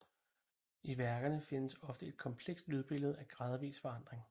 I værkerne findes ofte et komplekst lydbillede i gradvis forandring